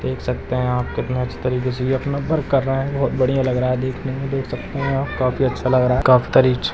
देख सकते है कितने अच्छे तरीके से यह अपना वर्क कर रहे है बहुत बढ़िया लग रहा है देखने मे देख सकते है आप काफी अच्छा लग रहा है काफी करीच --